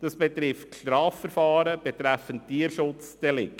Hierbei geht um Strafverfahren betreffend Tierschutzdelikte.